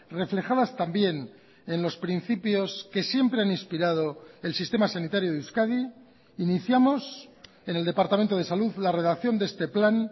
reflejadas también en los principios que siempre han inspirado el sistema sanitario de euskadi iniciamos en el departamento de salud la redacción de este plan